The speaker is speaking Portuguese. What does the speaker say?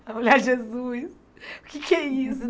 Olhai, Jesus, o que é que é isso?